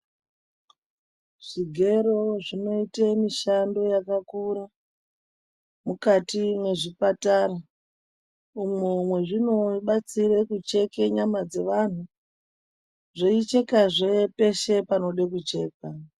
Zvigero zvinoite mishando yakakura mukati mwezvipatara umwo mwezvinobatsire kucheke nyama dzevanhu zveichekazve peshe panode kuchekwa.